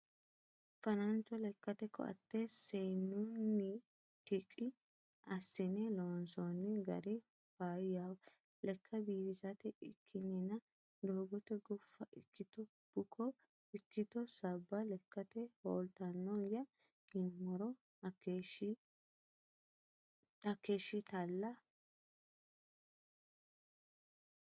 Fanancho lekkate koate seenunnittq assine loonsoni gari faayyaho lekka biifisate ikkininna doogote gufa ikkitto bukko ikkitto sabba lekkate hooltanoya yinuummoro hakeeshshatilla.